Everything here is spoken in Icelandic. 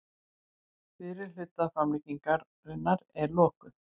Fyrri hluta framlengingar er lokið